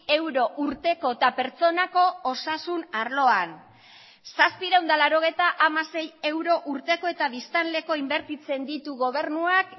euro urteko eta pertsonako osasun arloan zazpiehun eta laurogeita hamasei euro urteko eta biztanleko inbertitzen ditu gobernuak